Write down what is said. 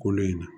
Kolo in na